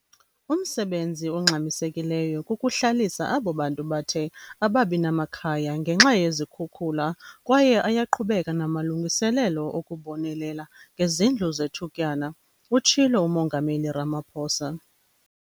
"Umsebenzi ongxamisekileyo kukuhlalisa abo bantu bathe ababinamakhaya ngenxa yezikhukula kwaye ayaqhubeka namalungiselelo okubonelela ngezindlu zethutyana," utshilo uMongameli Ramaphosa.